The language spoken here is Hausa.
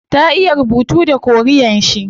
Ta iya rubuta da korean shi